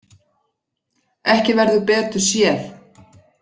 Ekki verður betur séð.